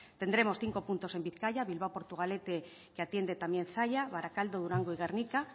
tendremos cinco puntos en bizkaia bilbao portugalete que atiende también zalla barakaldo durango y gernika